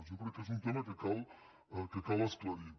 jo crec que és un tema que cal esclarir